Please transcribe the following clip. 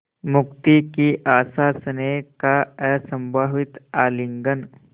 मुक्ति की आशास्नेह का असंभावित आलिंगन